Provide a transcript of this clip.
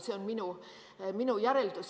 See on minu järeldus.